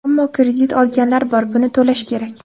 Ammo kredit olganlar bor, buni to‘lash kerak.